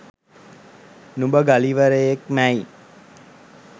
නුඹ ගලිවරයෙක්මැයි